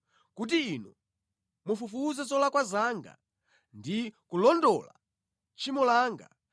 kuti Inu mufufuze zolakwa zanga ndi kulondola tchimo langa,